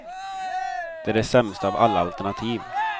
Det är det sämsta av alla alternativ.